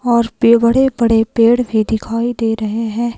और पे बड़े बड़े पेड़ भी दिखाई दे रहे हैं।